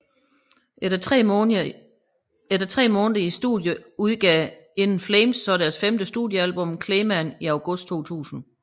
Efter tre måneder i studiet udgav In Flames så deres femte studiealbum Clayman i august 2000